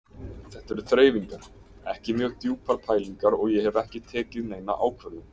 Þetta eru þreifingar, ekki mjög djúpar pælingar og ég hef ekki tekið neina ákvörðun.